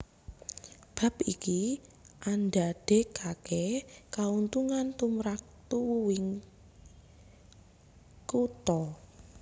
Bab iki andadèkaké kauntungan tumrap tuwuhing kutha